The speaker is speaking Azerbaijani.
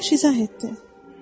Əyyaş izah etdi.